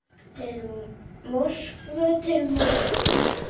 Til Moskvu, til Moskvu!